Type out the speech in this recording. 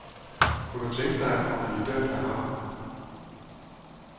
Kunne du tænke dig at blive dømt af ham?